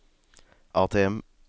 ATM